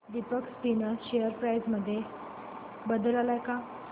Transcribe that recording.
Deepak spinners share price मध्ये बदल आलाय का